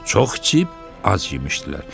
Çox içib, az yemişdilər.